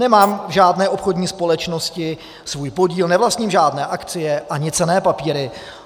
Nemám v žádné obchodní společnosti svůj podíl, nevlastním žádné akcie ani cenné papíry.